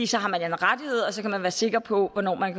så har man en rettighed og så kan man være sikker på hvornår man